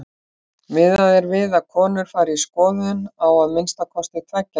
Miðað er við að konur fari í skoðun á að minnsta kosti tveggja ára fresti.